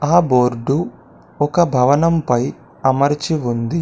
ఆ బోర్డు ఒక భవనంపై అమర్చి ఉంది.